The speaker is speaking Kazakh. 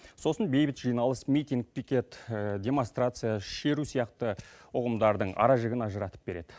сосын бейбіт жиналыс митинг пикет демонстрация шеру сияқты ұғымдардың аражігін ажыратып береді